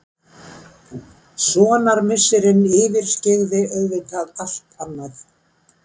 Sonarmissirinn yfirskyggði auðvitað allt annað.